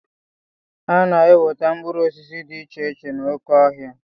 Ana-enweta mkpụrụ osisi dị iche iche n'oké ọhịa.